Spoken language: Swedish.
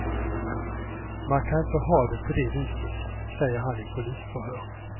Man kan inte ha det på det viset, säger han i polisförhör.